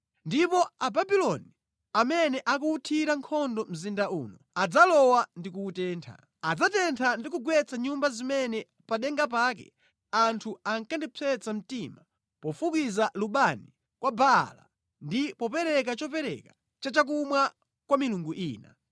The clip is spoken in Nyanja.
Ndipo Ababuloni amene akuwuthira nkhondo mzinda uno adzalowa ndi kuwutentha; adzatentha ndi kugwetsa nyumba zimene pa denga pake anthu ankandipsetsa mtima pofukiza lubani kwa Baala ndi popereka chopereka cha chakumwa kwa milungu ina.